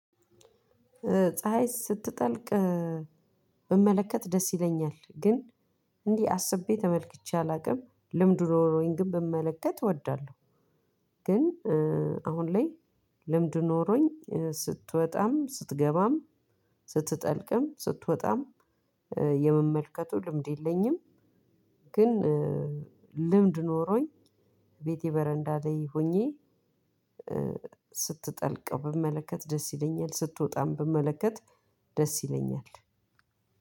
ፀሀይ ስትጠልቅ ብመለከት ደስ ይለኛል። ግን እንዲህ አስቤ ተመልክቼ አላውቅም ልምድ ኖሮኝ ግን ብመለከት እወዳለሁ። ግን አሁን ላይ ልምዱ ኖሮኝ ስትወጣም ስትገባም ስትጠልቅም ስትወጣም የምመልከቱ ልምድ የለኝም። ግን ልምድ ኖሮኝ ቤቴ በረንዳ ላይ ሆኜ ስትጠልቀው ብመለከት ደስ ይለኛል። ስትወጣም ብመለከት ደስ ይለኛል።